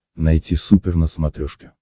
найти супер на смотрешке